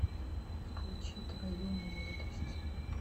включи твою молодость